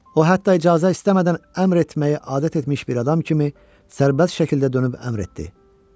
O hətta icazə istəmədən əmr etməyi adət etmiş bir adam kimi sərbəst şəkildə dönüb əmr etdi.